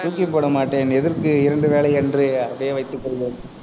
தூக்கிப்போட மாட்டேன். எதற்கு இரண்டு வேலை என்று அதையே வைத்து கொள்வேன்